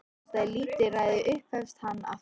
Þetta er lítilræði upphefst hann aftur.